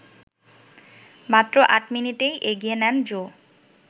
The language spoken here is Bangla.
মাত্র ৮ মিনিটেই এগিয়ে নেন জো